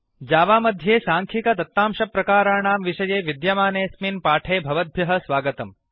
Java मध्ये साङ्ख्यिकदत्तांशप्रकाराणां numeric data type विषये विद्यमानेऽस्मिन् पाठे भवद्भ्यः स्वगतम्